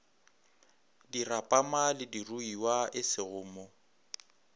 dirapama le diruiwa esego mo